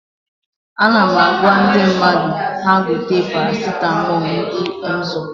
Ana m agwa ndị mmadụ ha gote paracitamọl ndị Emzor